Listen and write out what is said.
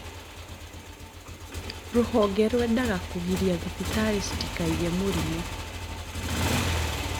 Rũhonge rũendaga kũgiria thibitari citikaige mũrimũ